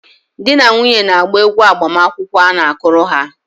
Di na nwunye na-agba egwu agbamakwụkwọ a na-akụrụ ha.